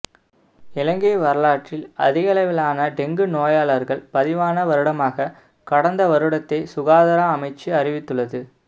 இலங்கை வரலாற்றில் அதிகளவிலான டெங்கு நோயாளர்கள் பதிவான வருடமாக கடந்த வருடத்தை சுகாதார அமைச்சு அறிவித்துள்ளது